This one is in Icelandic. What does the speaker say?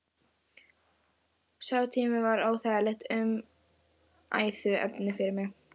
Sá tími var óþægilegt umræðuefni fyrir mig.